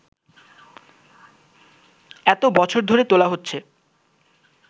এতো বছর ধরে তোলা হচ্ছে